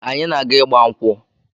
Anyị na-aga ịgba nkwụ.